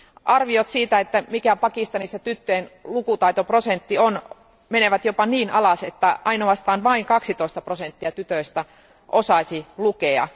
Arviot siitä, että mikä Pakistanissa tyttöjen lukutaitoprosentti on, menevät jopa niin alas, että vain 12 prosenttia tytöistä osaisi lukea.